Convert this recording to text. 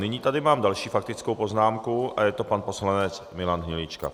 Nyní tady mám další faktickou poznámku a je to pan poslanec Milan Hnilička.